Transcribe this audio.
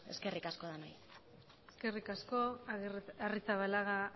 eskerrik asko eskerrik asko arrizabalaga